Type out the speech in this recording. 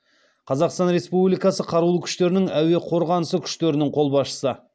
қазақстан республикасы қарулы күштерінің әуе қорғанысы күштерінің қолбасшысы